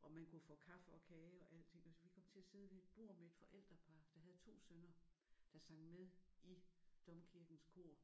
og man kunne få kaffe og kage og alting og så vi kom til at sidde ved et bord med et forældrepar der havde to sønner der sang med i Domkirkens kor